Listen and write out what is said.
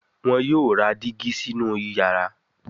wón yóò rà Dígí sínú iyàrá.